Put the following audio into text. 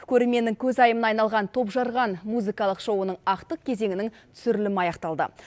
көрерменнің көзайымына айналған топжарған музыкалық шоуының ақтық кезеңінің түсірілімі аяқталды